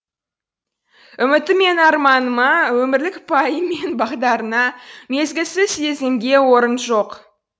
үміті мен арманына өмірлік пайым мен бағдарына мезгілсіз сезімге орын жоқ